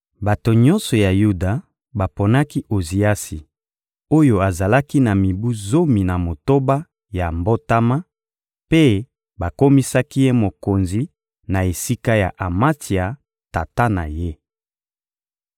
Bato nyonso ya Yuda baponaki Oziasi oyo azalaki na mibu zomi na motoba ya mbotama mpe bakomisaki ye mokonzi na esika ya Amatsia, tata na ye.